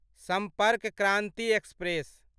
सम्पर्क क्रान्ति एक्सप्रेस